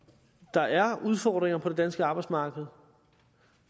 der er udfordringer på det danske arbejdsmarked